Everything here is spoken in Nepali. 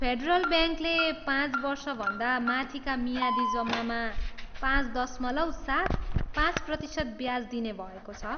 फेडरल ब्याङ्कले पाँच वर्षभन्दा माथिका मियादी जम्मामा पाँच दशमलव सात, पाँच प्रतिशत ब्याज दिने भएको छ।